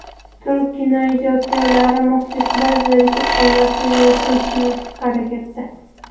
Turk kinoijodkorlari muxlislar zerikib qolmasligi uchun tinimsiz harakatda.